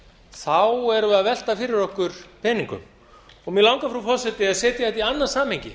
þá erum við að velta fyrir okkur peningum mig langar frú forseti að setja þetta í annað samhengi